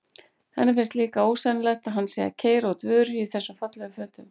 Henni finnst líka ósennilegt að hann sé að keyra út vörur í þessum fallegu fötum.